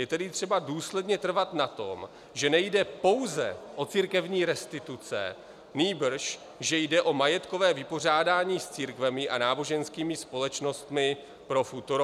Je tedy třeba důsledně trvat na tom, že nejde pouze o církevní restituce, nýbrž že jde o majetkové vypořádání s církvemi a náboženskými společnostmi pro futuro.